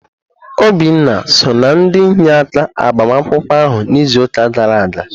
Obinna so na ndị inyeaka agbamakwụkwọ ahụ na izuka gara aga.